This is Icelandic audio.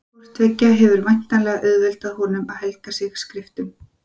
Hvort tveggja hefur væntanlega auðveldað honum að helga sig skriftum.